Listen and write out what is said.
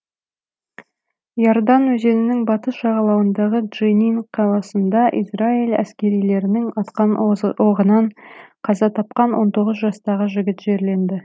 и ордан өзенінің батыс жағалауындағы дженин қаласында израиль әскерилерінің атқан оғынан қаза тапқан он тоғыз жастағы жігіт жерленді